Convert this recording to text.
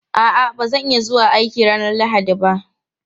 A'a, ba zan iya zuwa aiki ranar Lahadi ba.